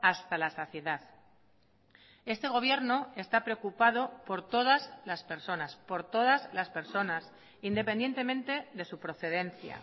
hasta la saciedad este gobierno está preocupado por todas las personas por todas las personas independientemente de su procedencia